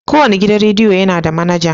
Kowane gidan rediyo yana da manaja.